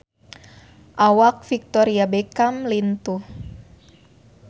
Awak Victoria Beckham lintuh